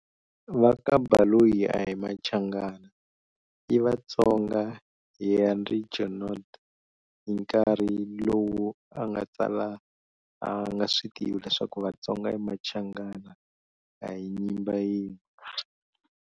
Vaka Baloyi ahi Machangana i Vatsonga Henri Junod hi nkarhi lowu anga tsala anga switivi leswaku Vatsonga ni Machangana ahi Nyimba yin'we.